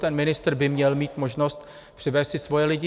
Ten ministr by měl mít možnost přivést si svoje lidi.